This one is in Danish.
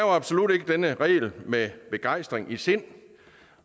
absolut ikke den regel med begejstring i sindet